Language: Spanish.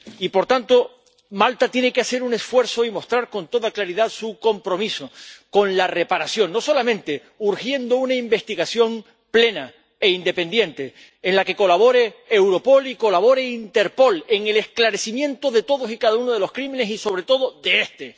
Y, por tanto, Malta tiene que hacer un esfuerzo y mostrar con toda claridad su compromiso con la reparación, no solamente urgiendo una investigación plena e independiente en la que colabore Europol y colabore Interpol en el esclarecimiento de todos y cada uno de los crímenes y, sobre todo, de este.